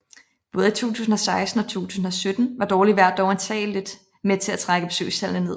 Både i 2016 og 2017 var dårligt vejr dog antageligt med til at trække besøgstallene ned